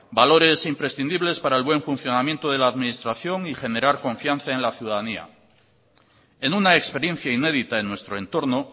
valores imprescindibles para el buen funcionamiento de la administración y generar confianza en la ciudadanía en una experiencia inédita en nuestro entorno